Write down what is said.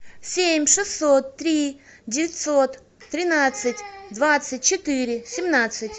семь шестьсот три девятьсот тринадцать двадцать четыре семнадцать